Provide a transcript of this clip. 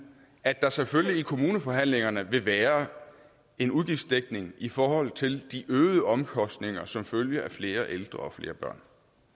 at der selvfølgelig i kommuneforhandlingerne vil være en udgiftsdækning i forhold til de øgede omkostninger som følge af flere ældre og flere børn